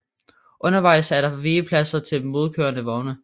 Undervejs er der vigepladser til modkørende vogne